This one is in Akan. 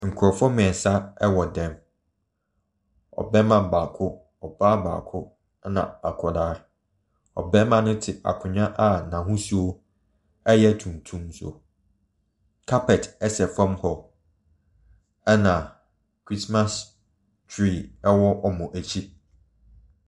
Nkurɔfoɔ mmiɛnsa wɔ dan mu. Ɔbarima baako, ɔbaa baako na akwadaa. Ɔbarima no te akonnwa a n’ahosuo yɛ tuntum so. Carpet sa fam hɔ na christmas tree wɔ wɔn akyi.